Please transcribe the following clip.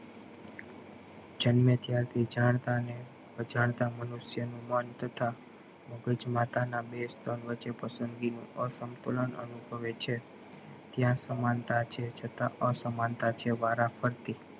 જામને ત્યારથી જન થા ને અજાણતા મનુષ્ય નું મન તથા મગજ માતા ને બે સ્તન વચે પસંદગી ની આ સંતુલન અનુભવે છે ત્યાં સમાનતા છે છતાં આ સમાનતા છે વાર ફરથી